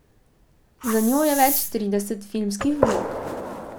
Za njo je več trideset filmskih vlog.